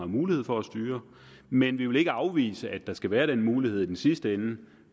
mulighed for at styre men vi vil ikke afvise at der skal være den mulighed i den sidste ende